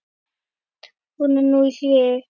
Hún er nú í hléi.